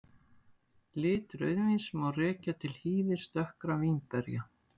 Lit rauðvíns má rekja til hýðis dökkra vínberja.